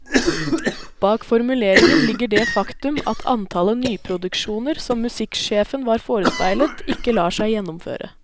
Bak formuleringen ligger det faktum at antallet nyproduksjoner som musikksjefen var forespeilet, ikke lar seg gjennomføre.